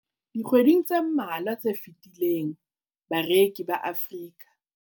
Dikgweding tse mmalwa tse fetileng, bareki ba Afrika